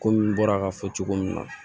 Komi n bɔra ka fɔ cogo min na